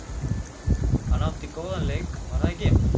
Hann átti góðan leik var það ekki?